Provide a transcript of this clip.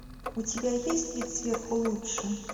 у тебя есть вид сверху лучше